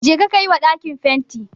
Jeka ka yi wa ɗakin fenti